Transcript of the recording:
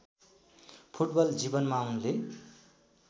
football जीवनमा उनले